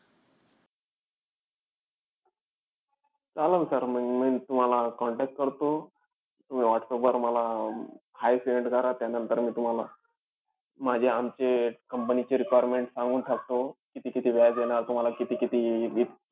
चालेल sir म. मी तुम्हाला contact करतो. तुम्ही whatsapp वर मला hi send करा. त्यानंतर मी तुम्हाला माझे-आमचे company चे requirement सांगून टाकतो. किती-किती व्याज येणार तुम्हाला, किती-किती